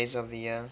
days of the year